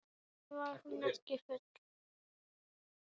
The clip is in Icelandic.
Hvernig var hún ekki full?